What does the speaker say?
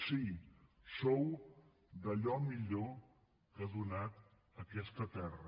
sí sou d’allò millor que ha donat aquesta terra